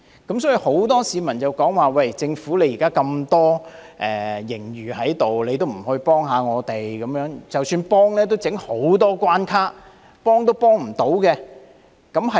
因此，很多市民指出，政府現時有大量盈餘也不幫助他們，就算提供幫助，也設下重重關卡，幫不到甚麼。